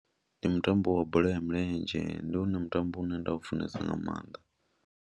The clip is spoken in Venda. Ndi mutambo wa bola ya milenzhe, ndi wone mutambo une nda u funesa nga maanḓa.